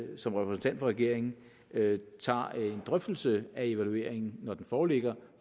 som repræsentant for regeringen tager en drøftelse af evalueringen når den foreligger